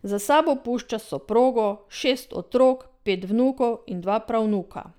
Za sabo pušča soprogo, šest otrok, pet vnukov in dva pravnuka.